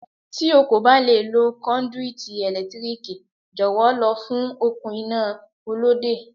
Tí o kò bá lè lo kọ́ndúítí ẹ̀lẹ́tíríkì, jọ̀wọ́ lọ fún okùn iná Olóde.